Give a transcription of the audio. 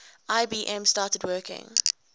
ibm started working